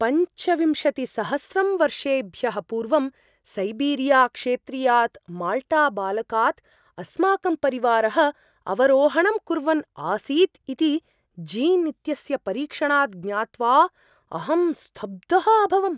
पञ्चविंशतिसहस्रं वर्षेभ्यः पूर्वं सैबीरिया क्षेत्रीयात् माल्टाबालकात् अस्माकं परिवारः अवरोहणं कुर्वन् आसीत् इति जीन् इत्यस्य परीक्षणात् ज्ञात्वा अहं स्तब्धः अभवम्।